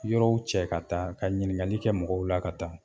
Yɔrɔw cɛ ka taa ka ɲininkali kɛ mɔgɔw la ka taa.